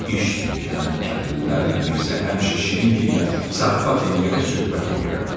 İş üçün gələn kəndlilərlə Mirzə həmişə şirin dillə zarafat eləyərək söhbət eləyərdi.